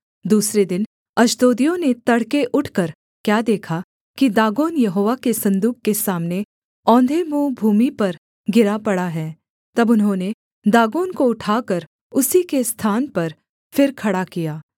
दूसरे दिन अश्दोदियों ने तड़के उठकर क्या देखा कि दागोन यहोवा के सन्दूक के सामने औंधे मुँह भूमि पर गिरा पड़ा है तब उन्होंने दागोन को उठाकर उसी के स्थान पर फिर खड़ा किया